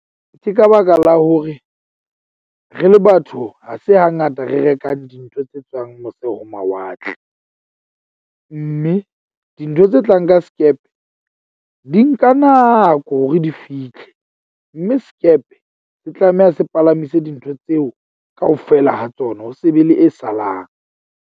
Ke ka baka la hore re le batho ha se hangata re rekang dintho tse tswang mose ho mawatle. Mme dintho tse tlang ka skepe di nka nako hore di fitlhe. Mme sekepe se tlameha se palamise dintho tseo kaofela ha tsona ho se be le e salang.